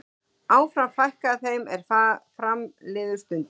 Áfram fækkaði þeim er fram liðu stundir.